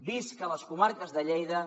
visca les comarques de lleida